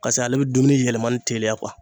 Kase ale be dumuni yɛlɛmani teliya